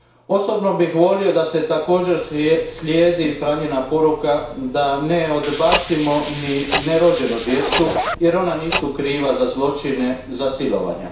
Osobno bih volio da se također slijedi Franjina poruka da ne odbacimo ni nerođenu djecu jer ona nisu kriva za zločine, za silovanja.